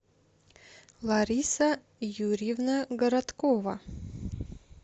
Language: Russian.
лариса юрьевна городкова